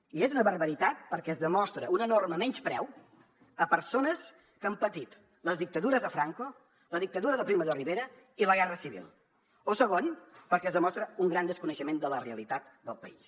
i és una barbaritat perquè es demostra un enorme menyspreu a persones que han patit la dictadura de franco la dictadura de primo de rivera i la guerra civil o segon perquè es demostra un gran desconeixement de la realitat del país